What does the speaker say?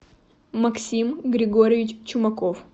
максим григорьевич чумаков